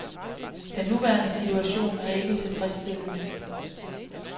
Den nuværende situation er ikke tilfredsstillende.